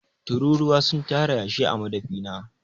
Tururuwa sun tara yashi a madafi na.